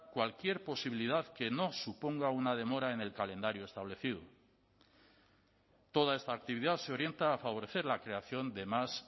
cualquier posibilidad que no suponga una demora en el calendario establecido toda esta actividad se orienta a favorecer la creación de más